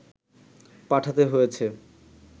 পাঠাতে হয়েছে